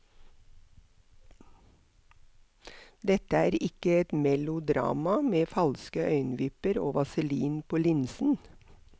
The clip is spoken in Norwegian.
Dette er ikke et melodrama med falske øyenvipper og vaselin på linsen.